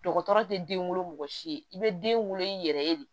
Dɔgɔtɔrɔ tɛ den wolo mɔgɔ si ye i bɛ den wolo i yɛrɛ ye de